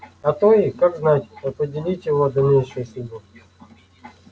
а то и как знать определить его дальнейшую судьбу